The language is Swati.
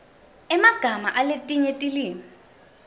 emagama aletinye tilwimi